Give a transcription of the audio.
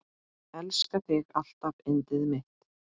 Elska þig alltaf yndið mitt.